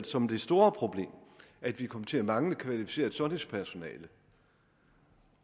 som det store problem at vi kommer til at mangle kvalificeret sundhedspersonale